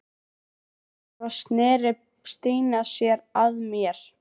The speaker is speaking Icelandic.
Svo sneri Stína sér að mér.